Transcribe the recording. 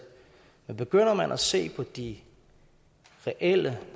men begynder man at se på de reelle